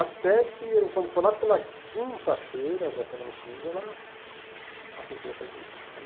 Até que, eu quando foi lá pela quinta-feira da semana seguinte, ela aceitou em sair comigo.